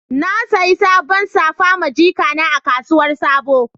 Na saƴi saɓon safa ma jiƙana a kasuwar sabo.